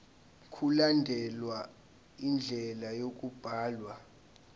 mkulandelwe indlela yokubhalwa